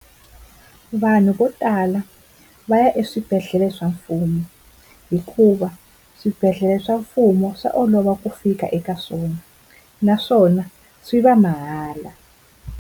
Vanhu vo tala va ya eswibedhlele swa mfumo hikuva swibedhlele swa mfumo swa olova ku fika eka swona, naswona swi va mahala.